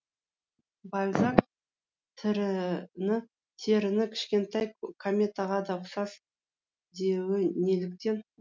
бальзак теріні кішкентай кометаға да ұқсас деуі неліктен